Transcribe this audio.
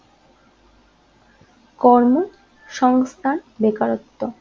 কর্মসংস্থান বেকারত্ব